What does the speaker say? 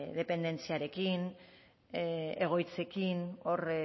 dependentziarekin egoitzekin hor